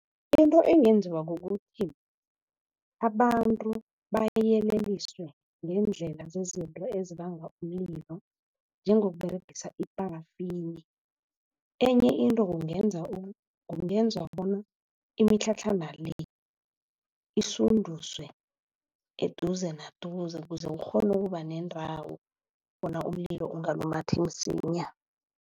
Into engenziwa kukuthi abantu bayeleliswe ngendlela zezinto ezibanga umlilo njengokuberegisa iparafini. Enye into kungenza kungenzwa bona imitlhatlhana le isinduzwe eduze naduze kuze ukghone ukuba nendawo bona umlilo ungalumathi msinya.